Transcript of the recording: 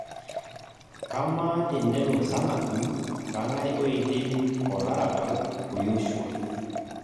Kamaa tenelo sanaku kang'ae oidim olarabal o Yoshua